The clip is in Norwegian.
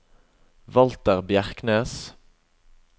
Walter Bjerknes